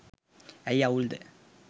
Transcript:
ඇයි අවුල්ද